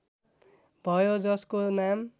भयो जसको नाम